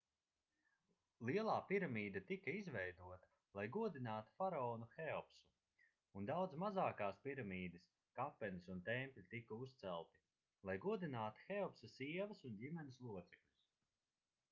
lielā piramīda tika izveidota lai godinātu faraonu heopsu un daudzas mazākās piramīdas kapenes un tempļi tika uzcelti lai godinātu heopsa sievas un ģimenes locekļus